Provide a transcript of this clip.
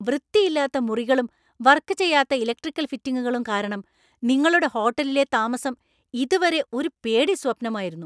വൃത്തിയില്ലാത്ത മുറികളും, വർക് ചെയ്യാത്ത ഇലക്ട്രിക്കൽ ഫിറ്റിംഗുകളും കാരണം നിങ്ങളുടെ ഹോട്ടലിലെ താമസം ഇതുവരെ ഒരു പേടിസ്വപ്നമായിരുന്നു.